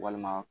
Walima